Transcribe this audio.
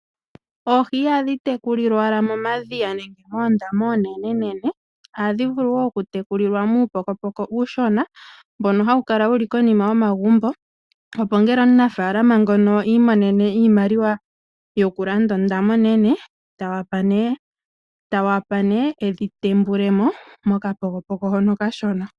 Oohi ihadhi tekulilwa owala momadhiya nenge moondama oonenenene, ohadhi vulu wo okutekulilwa muupokopoko uushona mbono hawu kala wu li konima yo magumbo. Opo ngele omunafalama ngono a imonene iimaliwa yokulanda ondama onene, ta wapa nee e dhi tembulemo mokapokopoko hono okashona.